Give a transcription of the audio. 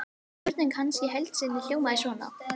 Spurning hans í heild sinni hljóðaði svona: